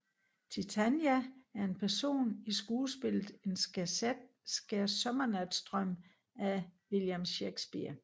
Titania er en person i skuespillet En skærsommernatsdrøm af William Shakespeare